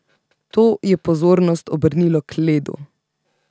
To je pozornost obrnilo k ledu.